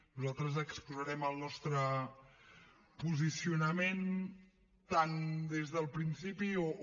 nosaltres exposarem el nostre posicionament tant des del principi o